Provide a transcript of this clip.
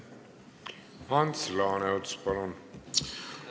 Ants Laaneots, palun!